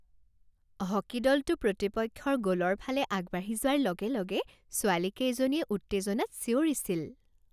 Hockey দলটো প্ৰতিপক্ষৰ গ'লৰ ফালে আগবাঢ়ি যোৱাৰ লগে লগে ছোৱালীকেইজনীয়ে উত্তেজনাত চিঞৰিছিল।